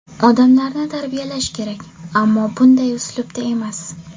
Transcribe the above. Odamlarni tarbiyalash kerak, ammo bunday uslubda emas.